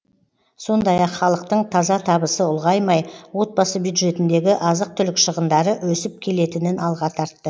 сондай ақ халықтың таза табысы ұлғаймай отбасы бюджетіндегі азық түлік шығындары өсіп келетінін алға тартты